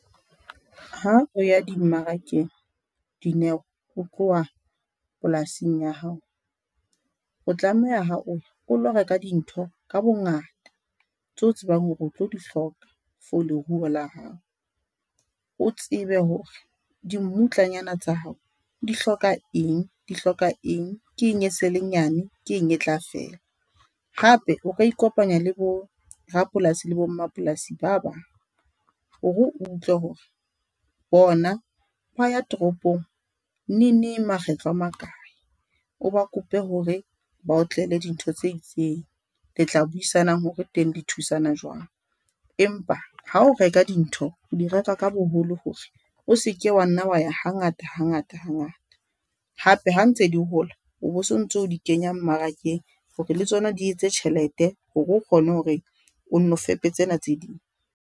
Ha o ya di-mmarakeng Dineo ho tloha polasing ya hao, o tlameha ha o lo reka dintho ka bongata tseo tsebang hore o tlo di hloka for leruo la hao. O tsebe hore dimmutlanyana tsa hao di hloka eng, di hloka eng. Ke eng e sele nyane, ke eng e tla fela. Hape o ka ikopanya le bo rapolasi le bo mmapolasi ba bang. Hore o utlwe hore bona ba ya toropong neneng makgetlo a makae, o ba kope hore ba o tlele dintho tse itseng, le tla buisana hore teng le thusana jwang, empa ha o reka dintho o di reka ka boholo hore o se ke wa nna wa ya hangata hangata hangata hape ha ntse di hola o bo sontso o di kenya mmarakeng. Hore le tsona di etse tjhelete hore o kgone hore o nno fepe tsena tse ding.